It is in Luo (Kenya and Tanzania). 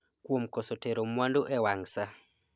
kuom koso tero mwandu ewang' saa